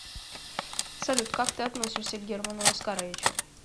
салют как ты относишься к герману оскаровичу